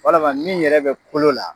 Walama min yɛrɛ bɛ kolo la